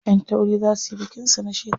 Ƴan tauri za suyi bikin su na shekara.